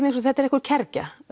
þetta er einhver kergja